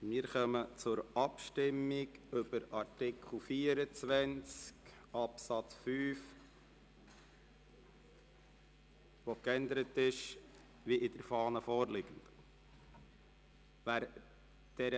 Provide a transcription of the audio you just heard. Dann kommen wir zur Abstimmung über Artikel 24 Absatz 5, der wie in der Fahne vorliegend geändert werden soll.